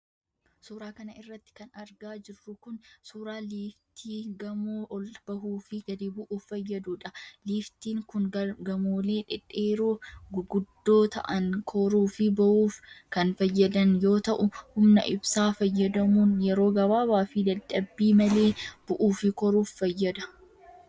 Suura kana irratti kan argaa jirru kun, suura liiftii gamoo ol bahuu fi gadi bu'uuf fayyaduudha. Liiftiin kun gamoolee dhedheeroo guguddoo ta'an koruu fi buuuf kan fayyadan yoo ta'u, humna ibsaa fayyadamuun yeroo gabaabaa fi dadhabbii malee bu'uu fi koruuf fayyada.